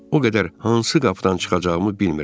O qədər hansı qapıdan çıxacağımı bilmirəm.